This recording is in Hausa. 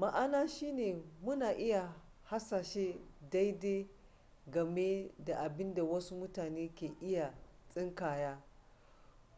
ma'ana shine muna iya hasashe daidai game da abinda wasu mutane ke iya tsinkaya